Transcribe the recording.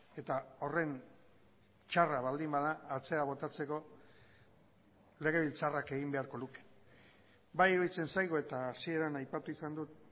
eta horren txarra baldin bada atzera botatzeko legebiltzarrak egin beharko luke bai iruditzen zaigu eta hasieran aipatu izan dut